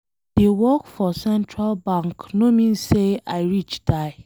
I dey work for central bank no mean say I rich die.